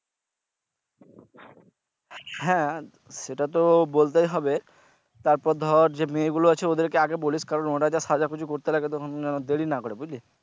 হ্যা সেটা তো বলতেই হবে তারপর ধর যে মেয়েগুলো আছে ওদের আগে বলিস কারণ ওরা যা সাজাগুজু করতে লাগে তো যেন, দেরি না করে বুঝলি?